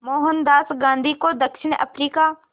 मोहनदास गांधी को दक्षिण अफ्रीका